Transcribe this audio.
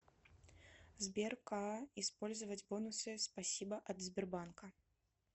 сбер каа использовать бонусы спасибо от сбербанка